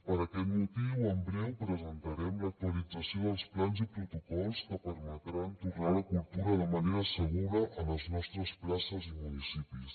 per aquest motiu en breu presentarem l’actualització dels plans i protocols que permetran tornar a la cultura de manera segura a les nostres places i municipis